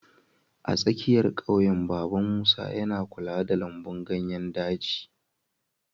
A tsakiyar ƙauyen, Baba Musa yana kula da lambun ganyen ɗaci.